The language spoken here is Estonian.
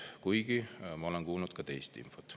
Kuigi ma olen kuulnud ka teist infot.